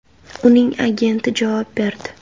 Uning agenti javob berdi.